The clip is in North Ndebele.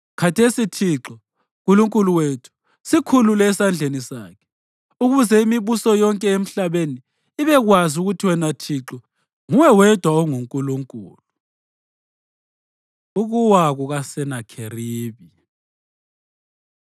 Khathesi, Thixo, Nkulunkulu wethu, sikhulule esandleni sakhe, ukuze imibuso yonke emhlabeni ibekwazi ukuthi wena Thixo, nguwe wedwa onguNkulunkulu.” Ukuwa KukaSenakheribi